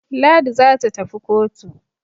Ladi za ta tafi kotu.